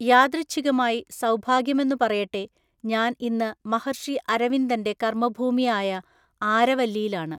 യാദൃച്ഛികമായി, സൗഭാഗ്യമെന്നു പറയട്ടെ ഞാന്‍ ഇന്ന് മഹര്‍ഷി അരവിന്ദന്‍റെ കര്‍മ്മഭൂമിയായ ആരവല്ലിയിലാണ്.